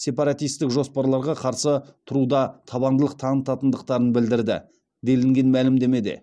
сепаратистік жоспарларға қарсы тұруда табандылық танытатындықтарын білдірді делінген мәлімдемеде